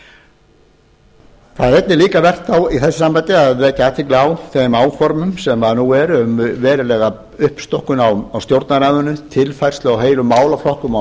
það er einnig líka vert þá í þessu sambandi að vekja athygli á þeim áformum sem nú eru um verulega uppstokkun á stjórnarráðinu tilfærslu á heilum málaflokkum á